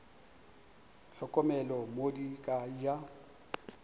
hlokomele mo di ka ja